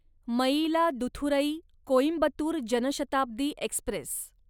Mayiladuthurai Coimbatore Janshatabdi Express